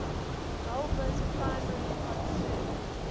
galba's primary concern